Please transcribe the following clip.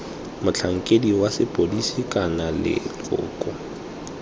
motlhankedi wa sepodisi kana leloko